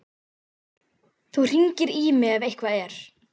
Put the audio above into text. Þú hringir í mig ef eitthvað er.